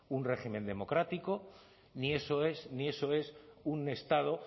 un régimen democrático ni eso es un estado